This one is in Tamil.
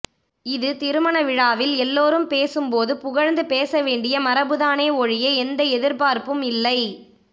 இது திருமணவிழாவில் எல்லோரும் பேசும் போது புகழ்ந்து பேச வேண்டிய மரபுதானே ஒழிய எந்த எதிரிபார்ப்பும் இல்லை